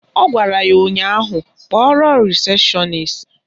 Ọ gwara ya ụnyaahụ "Kpọrọ rịsepshọnis"!